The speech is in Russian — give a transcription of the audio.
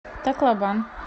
таклобан